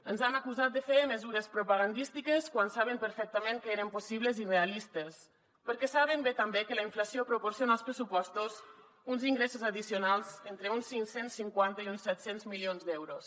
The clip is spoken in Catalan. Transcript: ens han acusat de fer mesures propagandístiques quan saben perfectament que eren possibles i realistes perquè saben bé també que la inflació proporciona als pressupostos uns ingressos addicionals entre uns cinc cents i cinquanta i uns set cents milions d’euros